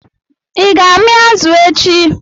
I ga-ami azụ echi?